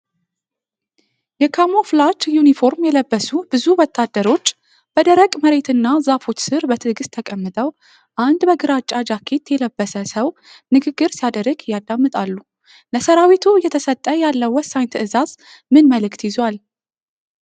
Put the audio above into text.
የካሞፍላጅ ዩኒፎርም የለበሱ ብዙ ወታደሮች በደረቅ መሬትና ዛፎች ስር በትዕግስት ተቀምጠው፣ አንድ በግራጫ ጃኬት የለበሰ ሰው ንግግር ሲያደርግ ያዳምጣሉ። ለሠራዊቱ እየተሰጠ ያለው ወሳኝ ትዕዛዝ ምን መልዕክት ይዟል?